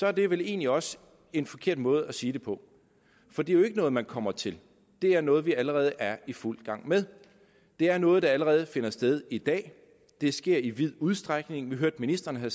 er det vel egentlig også en forkert måde at sige det på for det er jo ikke noget man kommer til det er noget vi allerede er i fuld gang med det er noget der allerede finder sted i dag det sker i vid udstrækning vi hørte at ministeren